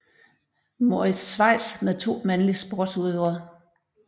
Moritz Schweiz med to mandlig sportsudøver